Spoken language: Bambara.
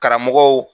Karamɔgɔw